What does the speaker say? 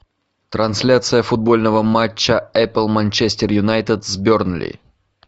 трансляция футбольного матча апл манчестер юнайтед с бернли